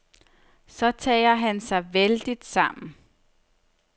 Så tager han sig vældigt sammen.